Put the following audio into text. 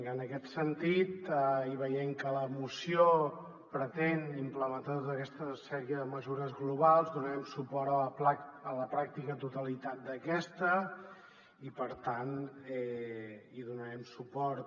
en aquest sentit i veient que la moció pretén implementar tota aquesta sèrie de mesures globals donarem suport a la pràctica totalitat d’aquesta i per tant hi donarem suport